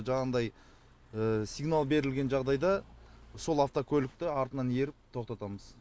жаңағыдай сигнал берілген жағдайда сол автокөлікті артынан еріп тоқтатамыз